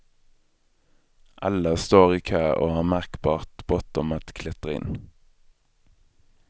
Alla står i kö och har märkbart bråttom att klättra in.